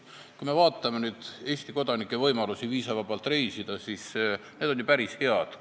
Kui me vaatame Eesti kodanike võimalusi viisavabalt reisida, siis need on ju päris head.